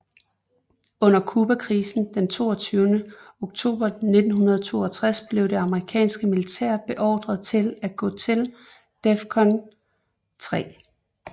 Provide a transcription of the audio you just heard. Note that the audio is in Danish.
Under Cubakrisen den 22 oktober 1962 blev det amerikanske militær beordret til at gå til DEFCON 3